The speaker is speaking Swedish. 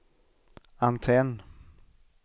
antenn